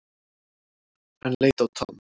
Hann leit á Tom.